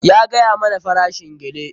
Ya gaya mana farashin gele.